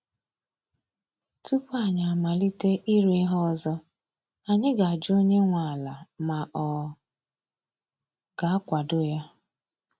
Tupu anyi amalite ịrụ ihe ọzọ, anyị ga ajụ onye nwe ala ma ọ ga-akwado ya